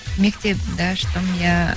мектебімді аштым иә